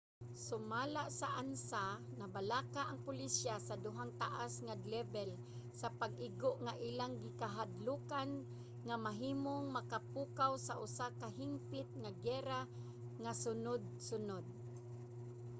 sumala sa ansa nabalaka ang pulisya sa duhang taas nga lebel nga pag-igo nga ilang gikahadlokan nga mahimong makapukaw sa usa ka hingpit nga giyera nga sunud-sunod